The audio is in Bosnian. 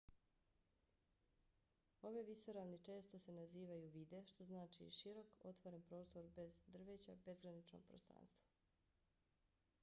ove visoravni često se nazivaju vidde što znači širok otvoren prostor bez drveća bezgranično prostranstvo